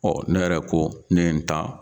Ɔ ne yɛrɛ ko ne ye n ta